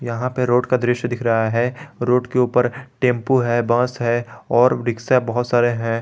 यहां पे रोड का दृश्य दिख रहा है रोड के ऊपर टेंपो है बस है और रिक्शा बहुत सारे हैं।